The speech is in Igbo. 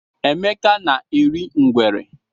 Emeka na-eri ngwere.